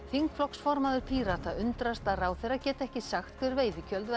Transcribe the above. þingflokksformaður Pírata undrast að ráðherra geti ekki sagt hver veiðigjöld